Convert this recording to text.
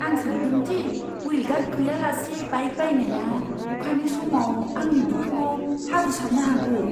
आं सानदों दि हुइल गार्ड गैयालासे बाइक बायनाया अखानि समाव आंनि बिखुङाव हाब्रु सारनो हागौ।